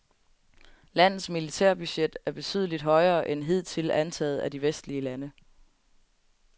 Landets militærbudget er betydeligt højere end hidtil antaget af de vestlige lande.